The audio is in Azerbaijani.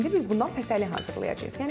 İndi biz bundan fəsəli hazırlayacağıq.